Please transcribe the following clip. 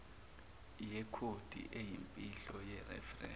yekhodi eyimfihlo yeferense